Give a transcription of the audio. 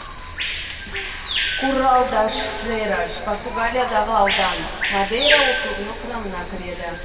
куррал даш фрейраш португалиядағы аудан мадейра округінің құрамына кіреді